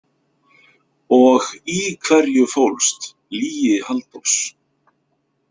Og í hverju fólst lygi Halldórs?